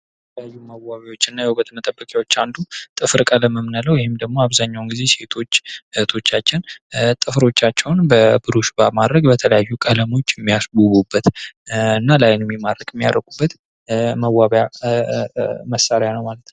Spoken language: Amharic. ከተለያዩ የመዋቢያ የውበት መጠበቂያዎች አንዱ ጥፍር ቀለም የምንለው ወይም ደግሞ አብዛኛውን ጊዜ ሴቶች እህቶቻችን ጥፍሮቻቸውን በቡርሽ በማድረግ በተለያዩ ቀለሞች የሚያስውበት እና ለዓይን የሚማርክ የሚያደርጉበት መዋቢያ መሳርያ ነው ማለት ነው።